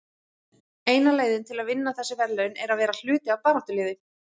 Eina leiðin til að vinna þessi verðlaun er að vera hluti af baráttuliði.